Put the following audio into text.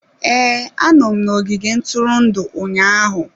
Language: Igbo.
Ee, anọ m n'ogige ntụrụndụ ụnyaahụ.